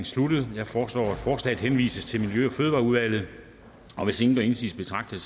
sluttet jeg foreslår at forslaget henvises til miljø og fødevareudvalget og hvis ingen gør indsigelse betragter